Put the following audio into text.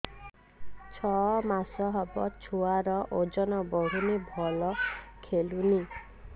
ଛଅ ମାସ ହବ ଛୁଆର ଓଜନ ବଢୁନି ଭଲ ଖେଳୁନି